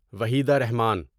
Waheeda Rahman